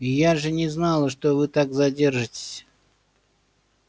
я же не знала что вы так задержитесь